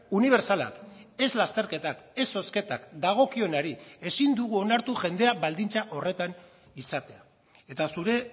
unibertsalak ez lasterketak ez zozketak dagokionari ezin dugu onartu jendea baldintza horretan izatea eta zure